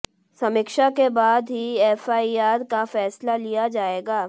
समीक्षा के बाद ही एफआईआर का फैसला लिया जायेगा